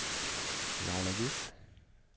Laila Just